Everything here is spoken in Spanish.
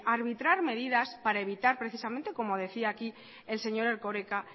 arbitrar medidas para evitar precisamente como decía aquí el señor erkoreka